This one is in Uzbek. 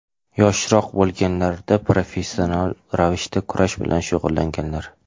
Yoshroq bo‘lganlarida professional ravishda kurash bilan shug‘ullanganlar.